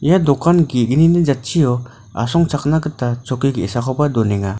ia dokan ge·gnini jatchio asongchakna gita chokki ge·sakoba donenga.